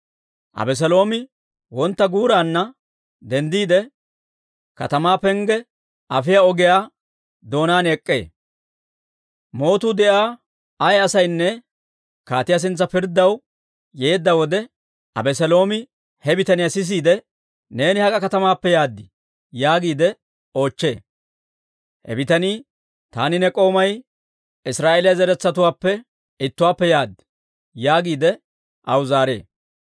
Abeseeloomi wontta guuraanna denddiide, katamaa pengge afiyaa ogiyaa doonaan ek'k'ee. Mootuu de'iyaa ay asaynne kaatiyaa sintsa pirddaw yeedda wode, Abeseeloomi he bitaniyaa s'eesiide, «Neeni hak'a katamaappe yaad?» yaagiide oochchee. He bitanii, «Taani ne k'oomay Israa'eeliyaa zaratuwaappe ittuwaappe yaad» yaagiide aw zaaree.